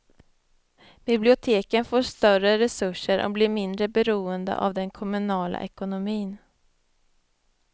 Biblioteken får större resurser och blir mindre beroende av den kommunala ekonomin.